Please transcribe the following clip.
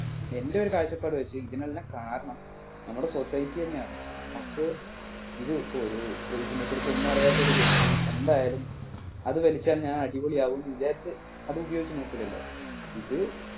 എൻ്റെ ഒരു കാഴ്ച്ചപ്പാട് വെച്ച് ഇതിനെല്ലാം കാരണം നമ്മുടെ soceity തന്നെയാണ് നമ്മക്ക് ഇത് ഇപ്പൊ ഒരു ഇതിനെ കുറിച്ച് ഒന്നും അറിയാത്ത ഒരു വ്യക്തി എന്തായാലും അതുവലിച്ച ഞാൻ അടിപൊളി ആകുംന്ന് വിചാരിച്ച് അത് ഉപയോഗിച്ച് നോക്കൂലല്ലോ ഇത്